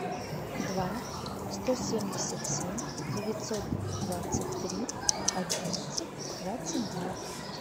два сто семьдесят семь девятьсот двадцать три одиннадцать двадцать два